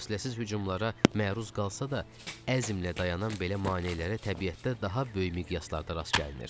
Fasiləsiz hücumlara məruz qalsa da, əzmlə dayanan belə maneələrə təbiətdə daha böyük miqyaslarda rast gəlinir.